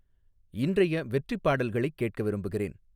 இன்றைய வெற்றிப் பாடல்களைக் கேட்க விரும்புகிறேன்